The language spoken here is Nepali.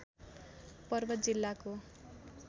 पर्वत जिल्लाको